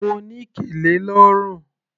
Mo ní kẹlẹ lọ́rùn.